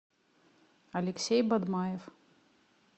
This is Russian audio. алексей бадмаев